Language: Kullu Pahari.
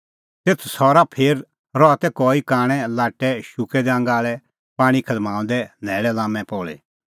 तेथ सरा फेर रहा तै कई कांणै लाट्टै शुक्कै दै आंगा आल़ै पाणीं खदमांऊदै न्हैल़ै लाम्मै पल़ी